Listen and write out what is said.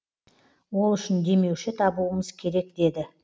ол үшін демеуші табуымыз керек деді